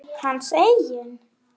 Hans eigin?